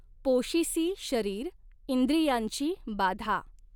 पॊशिसी शरीर इंद्रियांची बाधा.